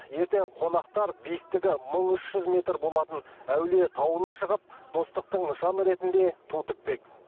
ертең қонақтар биіктігі мың үш жүз метр болатын әулие тауына шығып достықтың нышаны ретінде ту тікпек